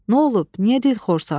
Nə olub, niyə dilxorsan?